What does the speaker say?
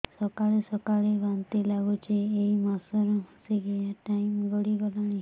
ସକାଳେ ସକାଳେ ବାନ୍ତି ଲାଗୁଚି ଏଇ ମାସ ର ମାସିକିଆ ଟାଇମ ଗଡ଼ି ଗଲାଣି